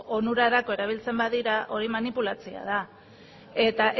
onurarako erabiltzen badira hori manipulatzea da eta